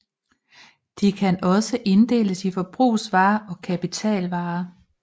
De kan også inddeles i forbrugsvarer og kapitalvarer